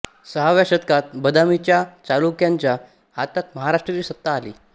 सहाव्या शतकात बदामीच्या चालुक्यांच्या हातात महाराष्ट्राची सत्ता आली